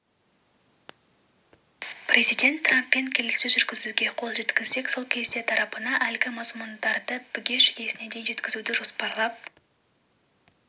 президент трамппен келіссөз жүргізуге қол жеткізсек сол кезде тарапына әлгі мазмұндарды бүге-шүгесіне дейін жеткізуді жоспарлап